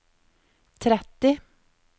tretti